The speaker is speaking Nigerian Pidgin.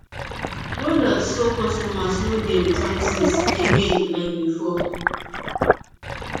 roduct so customers no dey return things again like before